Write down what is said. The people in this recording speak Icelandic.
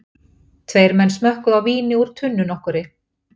Tveir menn smökkuðu á víni úr tunnu nokkurri.